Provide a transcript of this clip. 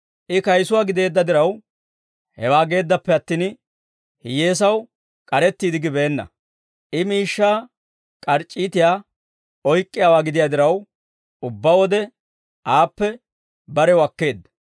I kayisuwaa gideedda diraw, hewaa geeddappe attin, hiyyeesaw k'arettiide gibeenna; I miishshaa k'arc'c'iitiyaa oyk'k'iyaawaa gidiyaa diraw, ubbaa wode aappe barew akkeedda.